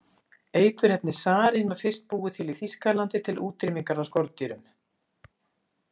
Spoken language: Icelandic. Eiturefnið sarín var fyrst búið til í Þýskalandi til útrýmingar á skordýrum.